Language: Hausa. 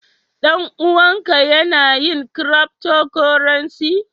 Dan-uwan ka Yana yin "cryptocurrency"?